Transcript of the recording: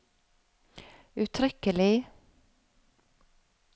uttrykkelig